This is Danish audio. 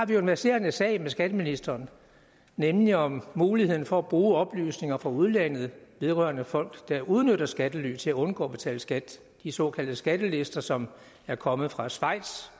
vi har en verserende sag med skatteministeren nemlig om muligheden for at bruge oplysninger fra udlandet vedrørende folk der udnytter skattely til at undgå at betale skat de såkaldte skattelister som er kommet fra schweiz